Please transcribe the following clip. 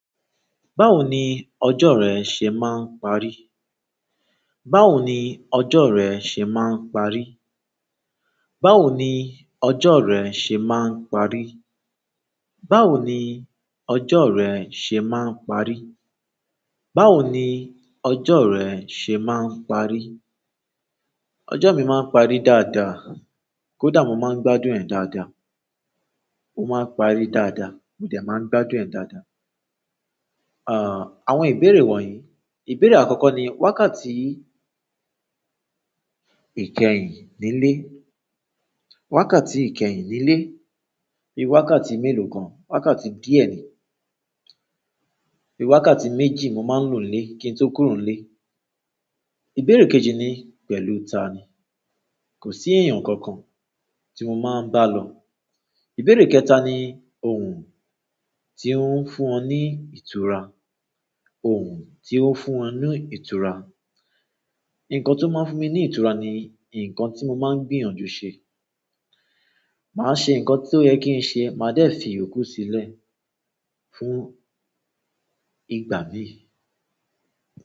Báwo ni ọjọ́ rẹ ṣe máa ń parí? Báwo ni ọjọ́ rẹ ṣe máa ń parí? Báwo ni ọjọ́ rẹ ṣe máa ń parí? Báwo ni ọjọ́ rẹ ṣe máa ń parí? Báwo ni ọjọ́ rẹ ṣe máa ń parí? Ọjọ́ mi máa ń parí dáadáa, kódà mo máa ń gbádùn ẹ̀ dáadáa. Ó máa parí dáadáa, mo de máa ń gbádùn ẹ̀ dáadáa. Àn, àwọn ìbéèrè wọ̀nyí, ìbéèrè àkọ́kọ́ ni, wákàtí ìkẹyìn nílé. Wákàtí ìkẹyìn nílé, bi wákàtí mélòó gan? Wákàtí díẹ̀ ni. Bi wákàtí méjì mo máa ń lò nílé kí n tó kúrò nílé. Ìbéèrè kejì ni, pẹ̀lú tani? Ko si eyan kankan ti mo n ma balo. Ìbéèrè kẹta ni, ohun ti n fún o ni ìtura? Ohun tí ó fún ọ ní ìtura. Nǹkan tó máa ń fún mi ní ìtura ni nǹkan tí mo máa ń gbìyànjú ṣe. Màá ṣe nǹkan tí ó yẹ kí n ṣe, màá de fi yokú sílẹ̀ fún ìgbà mi.